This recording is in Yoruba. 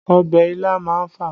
Ọbẹ̀ ilá má ń fà